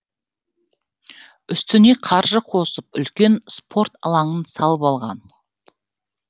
үстіне қаржы қосып үлкен спорт алаңын салып алған